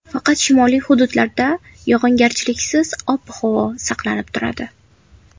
Faqat shimoliy hududlarda yog‘ingarchiliksiz ob-havo saqlanib turadi.